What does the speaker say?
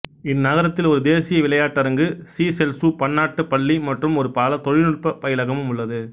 இந்நகரத்தில் ஒரு தேசிய விளையாட்டரங்கு சீசெல்சு பன்னாட்டுப் பள்ளி மற்றும் ஒரு பலதொழில்நுட்பப் பயிலகமும் உள்ளது